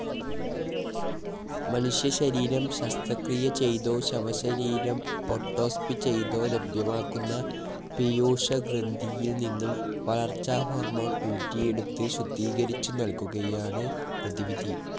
മനുഷ്യ ശരീരം ശസ്ത്രക്രിയ ചെയ്തോ ശവശരീരം ഓട്ടോപ്സി ചെയ്തോ ലഭ്യമാക്കുന്ന പീയൂഷഗ്രന്ഥിയിൽ നിന്ന് വളർച്ചാഹോർമോൺ ഊറ്റിയെടുത്ത് ശുദ്ധീകരിച്ചു നൽകുകയാണ് പ്രതിവിധി.